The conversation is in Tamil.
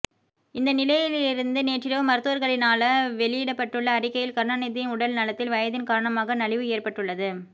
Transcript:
இந்தநிலையிலி நேற்றிரவு மருத்துவர்களினால வெளியிடப்பட்டுள்ள அறிக்கையில் கருணாநிதியின் உடல் நலத்தில் வயதின் காரணமாக நலிவு ஏற்பட்டுள்ளது